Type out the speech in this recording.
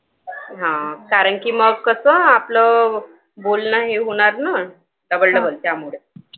हां कारण कि मग कसं आपलं बोलणं हे होणार ना double double त्यामुळे